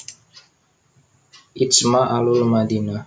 Ijma ahlul Madinah